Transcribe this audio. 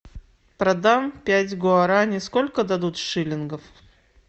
продам пять гуарани сколько дадут шиллингов